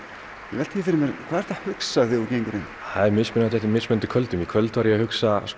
ég velti því fyrir mér hvað ertu að hugsa þegar þú gengur inn það er mismunandi eftir mismunandi kvöldum í kvöld var ég að hugsa